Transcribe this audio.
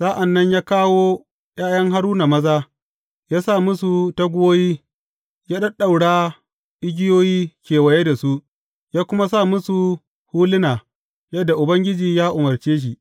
Sa’an nan ya kawo ’ya’yan Haruna maza, ya sa musu taguwoyi, ya ɗaɗɗaura igiyoyi kewaye da su, ya kuma sa musu huluna yadda Ubangiji ya umarce shi.